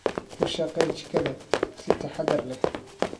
Ku shaqee jikada si taxadar leh.